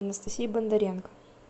анастасии бондаренко